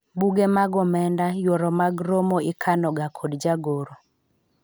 buge mag omenda ,yuoro mag romo ikano ga kod jagoro